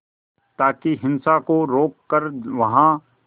ताकि हिंसा को रोक कर वहां